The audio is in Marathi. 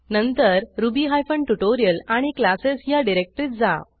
नंतर रुबी हायफेन ट्युटोरियल आणि क्लासेस ह्या डिरेक्टरीत जा